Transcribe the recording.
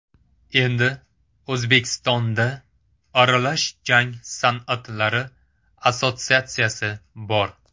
Endi O‘zbekistonda Aralash jang san’atlari assotsiatsiyasi bor .